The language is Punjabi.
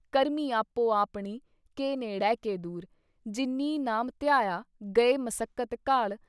ਕਰਮੀ ਆਪੋ ਆਪਣੀ ਕਿ ਨੇੜੇ ਕਿ ਦੂਰ , ਜਿੰਨੀ ਨਾਮ ਧਿਆਇਆ ਗਏ ਮਸਕਤਿ ਘਾਲ।